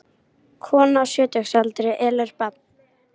Kona á sjötugsaldri elur barn